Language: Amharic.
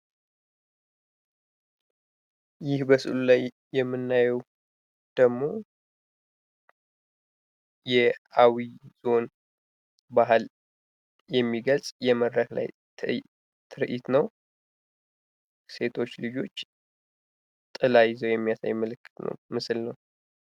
ይህ በምስሉ ላይ የምናየው የአዊ ዞን ባህልን የሚገልጽ የመድረክ ላይ ትርዒት ነው። ሴቶች ልጆች ጥላ ይዘው የሚያሳይ ምስል ነው።